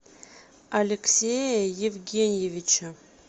алексея евгеньевича